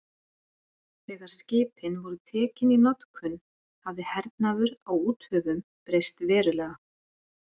Þegar skipin voru tekin í notkun hafði hernaður á úthöfum breyst verulega.